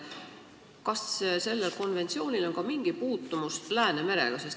Kas sellel konventsioonil on ka mingi puutumus Läänemerega?